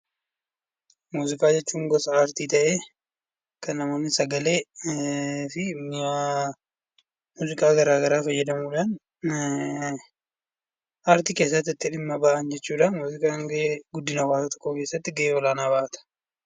Muuziqaa jechuun gosa aartii ta'ee kan namoonni sagalee fi mi'a ergaa gara garaa fayyadamuudhaan aartii keessatti dhiimma itti bahan jechuudha. Guddina hawwaasaa keessatti gahee olaanaa bahata.